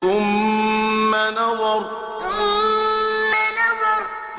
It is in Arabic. ثُمَّ نَظَرَ ثُمَّ نَظَرَ